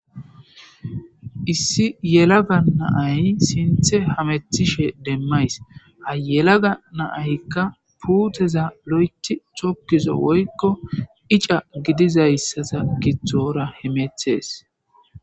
issi yelaga naay sinthe hamethishe demmays ha yelaga naayykka puuteza lo7eti cokkizo woykko ica gidizayssasa githora hemethees